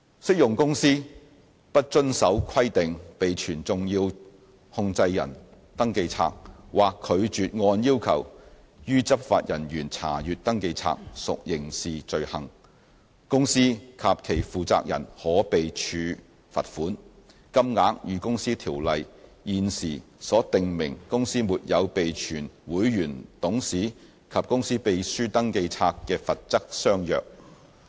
適用公司不遵從規定備存"重要控制人登記冊"，或拒絕按要求予執法人員查閱登記冊，屬刑事罪行，公司及其負責人可被處罰款，金額與《公司條例》現時所訂明公司沒有備存會員、董事及公司秘書登記冊的罰則相若。